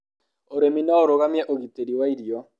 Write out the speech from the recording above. ũrĩmi no ũrũgamie ũgitĩri wa irio